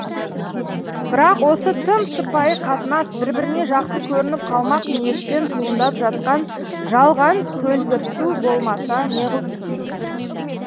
бірақ осы тым сыпайы қатынас бір біріне жақсы көрініп қалмақ ниеттен туындап жатқан жалған көлгірсу болмаса неғылсын